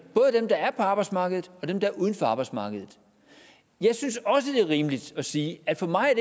både dem der er på arbejdsmarkedet og dem der er uden for arbejdsmarkedet jeg synes også det er rimeligt at sige at for mig er